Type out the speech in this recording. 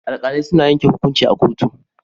Alkalai suna yanke hukunci a kotu.